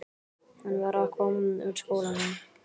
Hann var að koma úr skólanum.